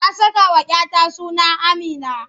Na sakawa 'ya ta suna Amina.